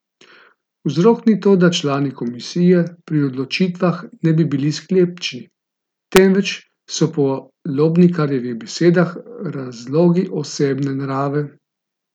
Vzrok ni to, da člani komisije pri odločitvah ne bi bili sklepčni, temveč so po Lobnikarjevih besedah razlogi osebne narave.